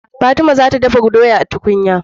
Fatima zata dafa doya a tukunyar